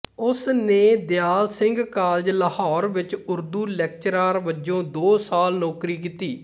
ਉਸਨੇ ਦਿਆਲ ਸਿੰਘ ਕਾਲਜ ਲਾਹੌਰ ਵਿਚ ਉਰਦੂ ਲੈਕਚਰਾਰ ਵਜੋਂ ਦੋ ਸਾਲ ਨੌਕਰੀ ਕੀਤੀ